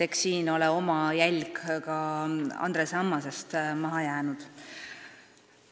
Eks siin ole oma jälg ka Andres Ammasest maha jäänud.